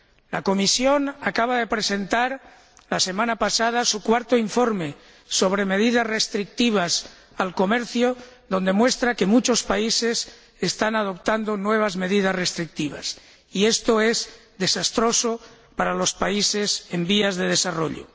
La Comisión acaba de presentar la semana pasada su cuarto informe sobre medidas restrictivas al comercio, donde muestra que muchos países están adoptando nuevas medidas restrictivas y esto es desastroso para los países en vías de desarrollo.